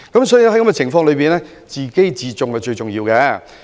所以，在此情況下，自重是最重要的。